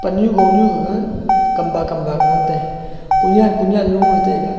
pan nu gonu gaga kamba kamba kah ngantai konyan konyan loye taiga.